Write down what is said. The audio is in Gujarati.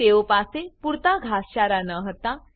તે ઓ પાસે પૂરતા ઘાસચારા ન હતા